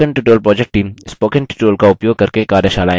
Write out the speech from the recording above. spoken tutorial project team